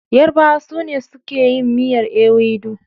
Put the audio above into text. Yarabawa su ne suke yin miyar ewedu.